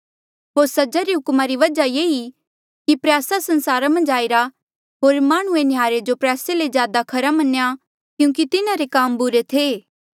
होर सजा रे हुक्मा री वजहा ये ई कि प्रयासा संसारा मन्झ आईरा होर माह्णुंऐ नह्यारे जो प्रयासे ले ज्यादा खरा मन्या क्यूंकि तिन्हारे काम बुरे थे